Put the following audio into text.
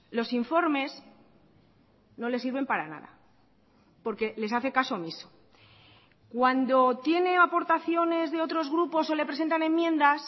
los informes no les sirven para nada porque les hace caso omiso cuando tiene aportaciones de otros grupos o le presentan enmiendas